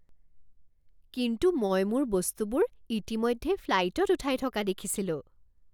কিন্তু মই মোৰ বস্তুবোৰ ইতিমধ্যে ফ্লাইতত উঠাই থকা দেখিছিলোঁ।